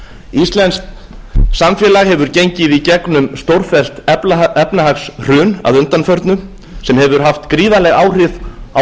íslenskt samfélag hefur gengið í gegnum stórfellt efnahagshrun að undanförnu sem hefur allt gríðarleg áhrif á